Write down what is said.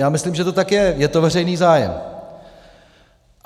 Já myslím, že to tak je, je to veřejný zájem.